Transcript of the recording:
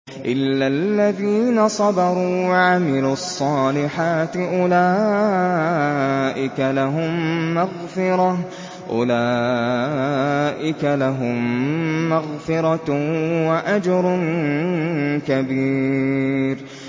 إِلَّا الَّذِينَ صَبَرُوا وَعَمِلُوا الصَّالِحَاتِ أُولَٰئِكَ لَهُم مَّغْفِرَةٌ وَأَجْرٌ كَبِيرٌ